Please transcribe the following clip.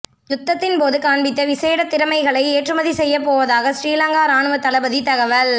யுத்தத்தின்போது காண்பித்த விசேட திறமைகளை ஏற்றுமதி செய்யப் போவதாக ஸ்ரீலங்கா இராணுவத் தளபதி தகவல்